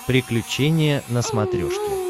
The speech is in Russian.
приключения на смотрешке